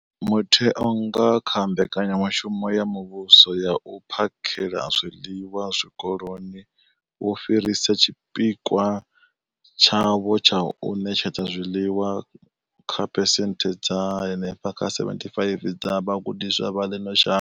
Mutheo, nga kha Mbekanya mushumo ya Muvhuso ya U phakhela zwiḽiwa Zwikoloni, wo fhirisa tshipikwa tshawo tsha u ṋetshedza zwiḽiwa kha phesenthe dza henefha kha 75 dza vhagudiswa vha ḽino shango.